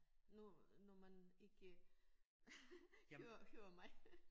Når når man ikke hører hører mig